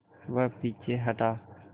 वह पीछे हटा